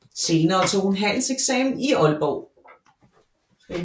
Senere tog hun handelseksamen i Aalborg